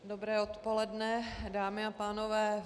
Dobré odpoledne, dámy a pánové.